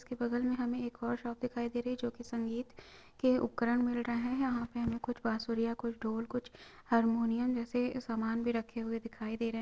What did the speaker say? उसके बगल मे हमें एक और शॉप दिखाई दे रही है जो की संगीत के उपकरण मिल रहे है यहाँ पे हमे कुछ बाँसुरियाँ कुछ ढोल कुछ हारमोनियम जैसे सामान भी रखे हुए दिखाई दे रहे है।